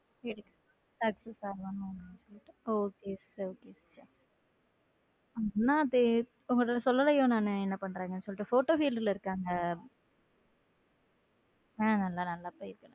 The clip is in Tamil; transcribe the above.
சேர okay அண்ணா உங்ககிட்ட சொல்லலையோ நானு என்ன பண்றாங்கன்னு சொல்லிட்ட photo field இருக்காங்க ஹம் நல்லா போயிட்டு இருக்கு.